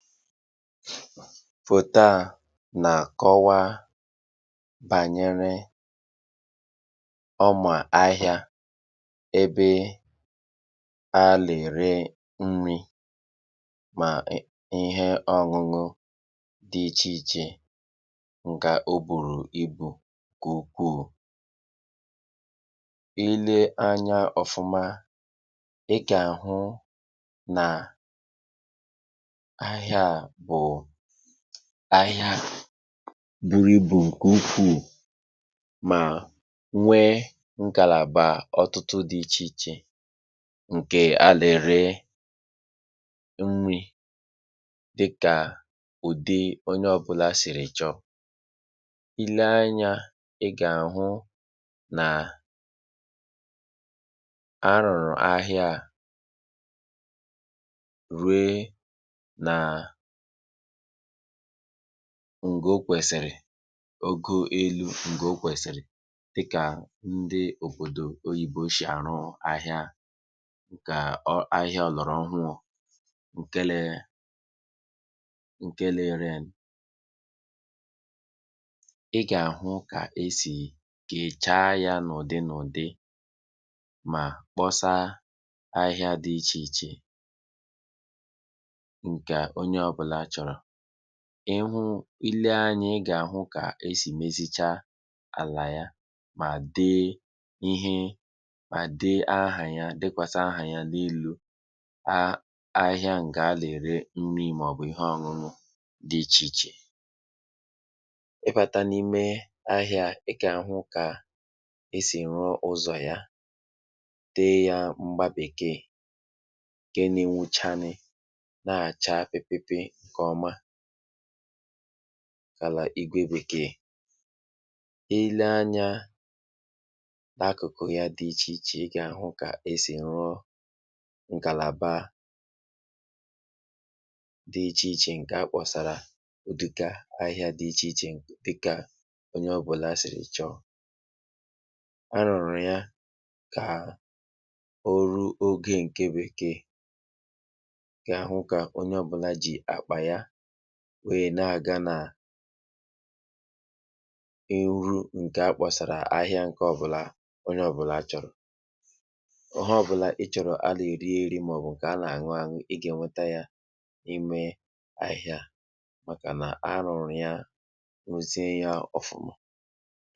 Foto a na-akọwa bànyere ụmu ahịa ebe a na-ere nri ma ihe ọgụgụ dị iche iche. Ị ga-ele oburu ibu nku ukwu. Ịle anya ọfụma, ị ga-ahụ na ahịa bụ ahịa buru ibu nke ukwu, ma nwee ngalaba ọtụtụ dị iche iche nke a na-ere nri dị ka ụdị onye ọbụla siri chọọ. Ịle anya, ị ga-ahụ na a rụrụ ahịa ruo na n'ogo kwesịrị ogo elu ekwesịri, dika ndị obodo oyibo si arụ ahịa, ka ahịa a rụrụ ọhụrụ nke a na-ere. Ị ga-ahụ ka e si kechaa ya n'ụdị nụdị ma kposaa ahịa dị iche iche nke onye ọbụla chọọ. N’ihu, ịle anya, ị ga-ahụ ka ha si mezi chaa ala ya ma dee ihe ma dee aha ya n’elu ahịa nke a na-ere nri ma ọ bụ ihe anụanụ dị iche iche. Ịbata n'ime ahịa a, ị ga-ahụ ka e si rụọ ụzọ ya, dee ya mgba-bekee nke na-enwu chaa ni, na-acha pipipi nke ọma gaa n'ụlọ-igwe-bekee. Ịle anya n’akụkụ ya dị iche iche, ị ga-ahụ ka ha si rụọ ngalaba dị iche iche nke a kposara udoka ahia di iche iche, dika onye ọbụla siri chọọ, a rụọ ya ka ọrụ oge nke bekee. Ha hụ ka onye ọbụla ji akpa ya wee na-aga na eru nke a kposara, ahịa nke ọbụla onye ọbụla chọrọ. Onye ọbụla chọrọ ihe a na-erierị ma ọ bụ nke a na-anụanụ, ga-enweta ya n’ahịa, maka na a hụrụ ya ọfụma.